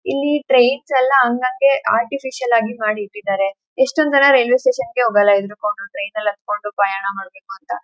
ಇಲ್ಲಿ ಟ್ರೈನ್ಸ್ ಎಲ್ಲಾ ಹಂಗಂಗೆ ಆರ್ಟಿಫಿಷಿಯಲ್ ಆಗಿ ಮಾಡಿ ಇಟ್ಟಿದ್ದರೆ. ಎಷ್ಟೊನ ಜನ ರೈಲ್ವೆ ಸ್ಟೇಷನ್ ಗೆ ಹೋಗಲ್ಲಾ ಹೆದ್ರ ಕೊಂಡು ಟ್ರೈನ್ ನಲ್ಲಿ ಹತ್ತಕೊಂಡು ಪ್ರಯಾಣ ಮಾಡಬೇಕಂತ.